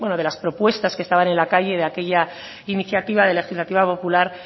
de las propuestas que estaban en la calle de aquella iniciativa legislativa popular